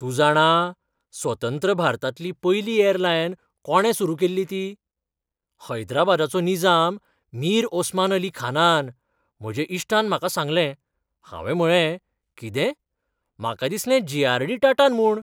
"तू जाणा, स्वतंत्र भारतांतली पयली अॅरलायन कोणे सुरू केल्ली ती? हैद्राबादाचो निजाम मीर ओसमान अली खानान," म्हज्या इश्टान म्हाका सांगलें. हावें म्हळेंः "कितें? म्हाका दिसलें जेआरडी टाटान म्हूण!"